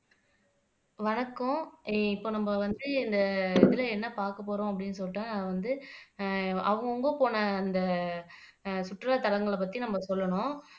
வணக்கம், இப்ப நம்ம வந்து இந்த இதுல என்ன பாக்கப்போறோம் அப்படின்னு சொல்றேன் வந்து அஹ் அவங்கவங்க போன இந்த அஹ் சுற்றுலாத்தலங்களை பத்தி நம்ம சொல்லணும்